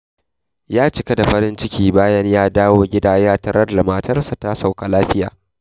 Ya cika da farin ciki bayan da ya dawo gida ya tarar da matarsa ta sauka lafiya.